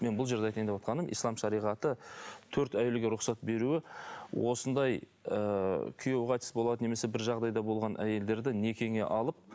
мен бұл жерде айтайын деп отырғаным ислам шариғаты төрт әйелге рұқсат беруі осындай ыыы күйеуі қайтыс болады немесе бір жағдайда болған әйелдерді некеңе алып